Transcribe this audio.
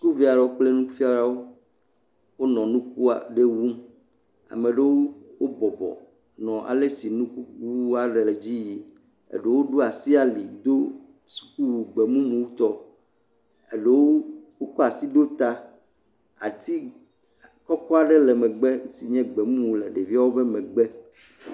Sukuvi aɖewo kple nufialawo, wonɔ nuku aɖe wum, ame ɖewo bɔbɔ, nɔ alesi nukuwuwua nɔ edzi yim, eɖewo ɖo asi ali dosukuwu gbemumu tɔ, eɖewo wokɔ asi ɖo ta, ati kɔkɔ aɖe le megbe si ke nye gbemumu le ɖeviewo be megbe.